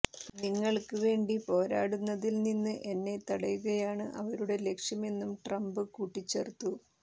നിങ്ങൾക്ക് വേണ്ടി പോരാടുന്നതിൽ നിന്ന് എന്നെ തടയുകയാണ് അവരുടെ ലക്ഷ്യമെന്നും ട്രംപ് കൂട്ടിച്ചേർത്തു